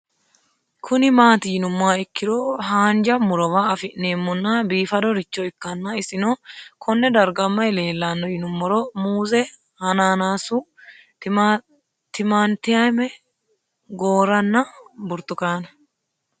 Kuni mati yinumoha ikiro hanja murowa afine'mona bifadoricho ikana isino Kone darga mayi leelanno yinumaro muuze hanannisu timantime gooranna buurtukaane